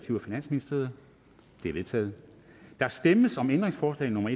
finansministeren de er vedtaget der stemmes om ændringsforslag nummer